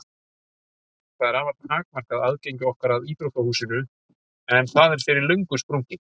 Það er afar takmarkað aðgengi okkar að íþróttahúsinu en það er fyrir löngu sprungið.